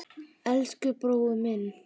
Elsku besti brói minn.